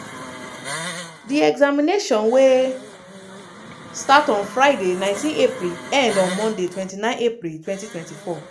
di examination wey start on friday 19 april end on monday 29 april 2024.